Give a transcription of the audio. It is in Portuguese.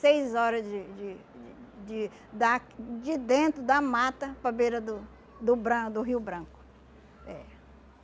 Seis horas de de de de da de dentro da mata, para a beira do do bran do Rio Branco. É.